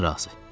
Mən razı.